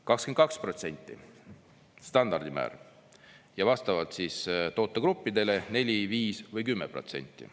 –, 22% standardmäär ja vastavalt tootegruppidele 4–5% või 10%.